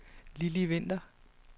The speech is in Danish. Lilli Winther